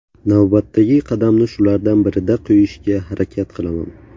Navbatdagi qadamni shulardan birida qo‘yishga harakat qilaman.